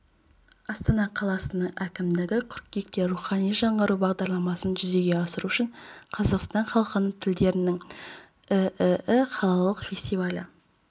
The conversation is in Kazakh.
астана қаласының әкімдігі қыркүйекте рухани жаңғыру бағдарламасын жүзеге асыру үшін қазақстан халқы тілдерінің ііі қалалық фестивалі